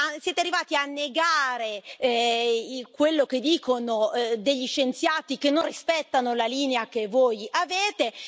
Siete arrivati a negare quello che dicono degli scienziati che non rispettano la linea che voi avete.